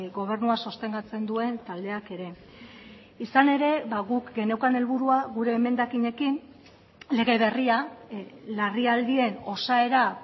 gobernua sostengatzen duen taldeak ere izan ere guk geneukan helburua gure emendakinekin lege berria larrialdien osaera